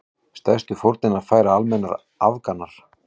Stærstu fórnina færa almennir Afganar.